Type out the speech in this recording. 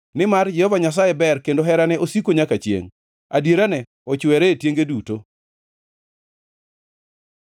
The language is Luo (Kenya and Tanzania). Nimar Jehova Nyasaye ber kendo herane osiko nyaka chiengʼ; adierane ochwere e tienge duto.